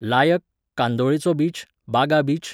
लायक, कांदोळेचो beach, Baga beach